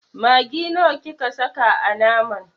Maggi nawa kika saka a naman?